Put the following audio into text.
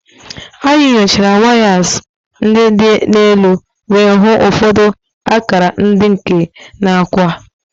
Anyị nyochara wires ndị dị n'elu wee hụ ụfọdụ akara nke ike na akwa.